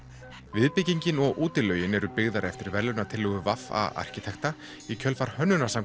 viðbyggingin og útilaugin eru byggðar eftir verðlaunatillögu arkitekta í kjölfar